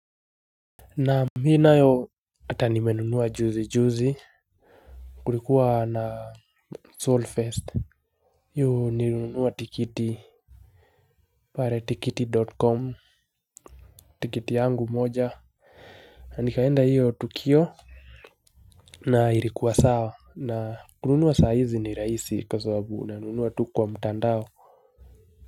Naam, mimi nayo hata nimenunua juzi juzi. Kulikuwa na Solfest. Hiyo nilinunua tikiti. Pale tikiti. Com tiketi yangu moja nikaenda hiyo tukio. Na ilikuwa sawa na kununua saa hizi ni rahisi kwa sababu unanunua tu kwa mtandao.